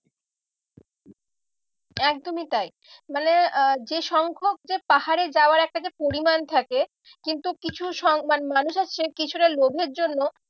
একদমই তাই মানে আহ যে সংখ্যক যে পাহাড়ে যাওয়ার একটা যে পরিমান থাকে কিন্তু কিছু মানুষ আছে কিছুটা লোভের জন্য